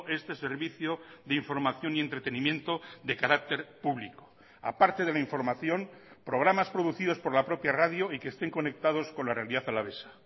este servicio de información y entretenimiento de carácter público aparte de la información programas producidos por la propia radio y que estén conectados con la realidad alavesa